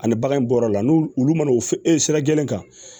Ani bagan in bɔra o la n'ulu olu mana u e sira gɛlɛn kan